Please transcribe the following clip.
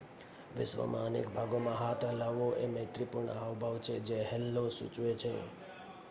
"વિશ્વનાં અનેક ભાગોમાં હાથ હલાવવો એ મૈત્રીપૂર્ણ હાવભાવ છે જે "હેલ્લો." સૂચવે છે.